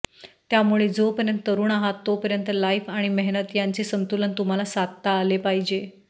त्यामुळे जोपर्यंत तरुण आहात तोपर्यंत लाईफ आणि मेहनत यांचे संतुलन तुम्हाला साधता आले पाहिजे